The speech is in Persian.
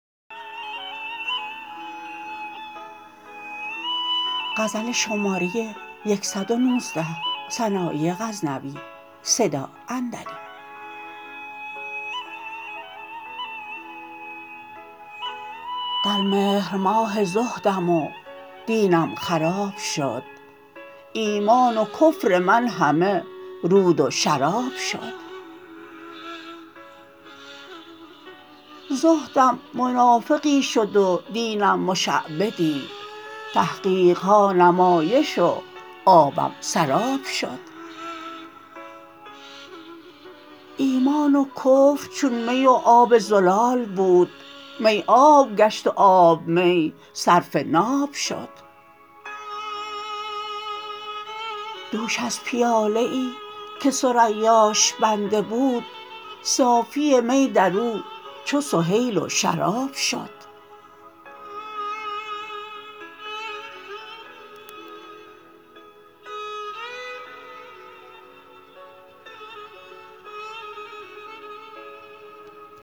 در مهر ماه زهدم و دینم خراب شد ایمان و کفر من همه رود و شراب شد زهدم منافقی شد و دینم مشعبدی تحقیقها نمایش و آبم سراب شد ایمان و کفر چون می و آب زلال بود می آب گشت و آب می صرف ناب شد دوش از پیاله ای که ثریاش بنده بود صافی می درو چو سهیل و شراب شد